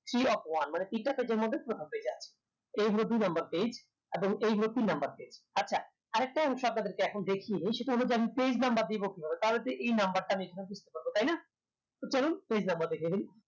three of one মানে তিনটা page এর মধ্যে প্রথম page এ আছে তো এই হলো দুই number page এবং এই হলো তিন number page আচ্ছা আরেকটা হচ্ছে আপনাদেরকে এখন দেখিয়ে দেই সেটা হলো আমি page number দিবো কিভাবে তাহলেতো এই number টা আমি এখান থেকে কি করবো তাইনা তো চলুন page number দেখিয়ে দেই